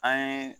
An ye